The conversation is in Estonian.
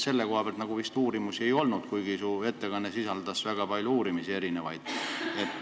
Selle kohta vist uuringuid ei olnud, kuigi su ettekandes mainiti mitmeid uuringuid.